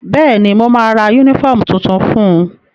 Bẹ́ẹ̀ni, mo ma ra yúnífọ̀mù tuntun fun